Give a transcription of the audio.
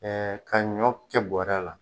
Ɛɛ ka ɲɔ kɛ bɔrɛ la